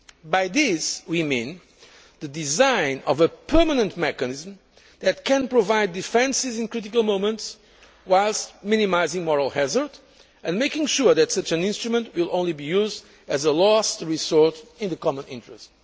By this, we mean the design of a permanent mechanism that can provide defence in critical moments, whilst minimising moral hazard and making sure that such an instrument will only be used as a last resort in the common interest.